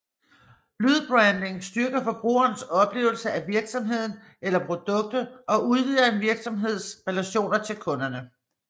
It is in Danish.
Lydbranding styrker forbrugernes oplevelse af virksomheden eller produktet og udvider en virksomheds relationer til kunderne